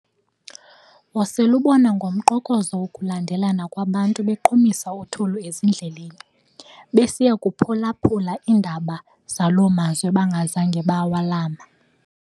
Wosel'ubona ngomqokozo wokulandelana kwabantu beqhumisa uthuli ezindleleni, besiya kuphulaphula iindaba zaloo mazwe bangazanga bawalama.